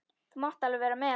Þú mátt alveg vera með.